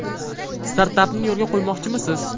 Startapni yo‘lga qo‘ymoqchimisiz?